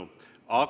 Suur tänu!